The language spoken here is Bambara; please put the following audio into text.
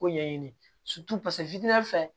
Ko ɲɛɲini fɛ